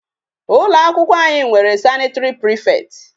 Ụlọ akwụkwọ anyị nwere sanitary prefect.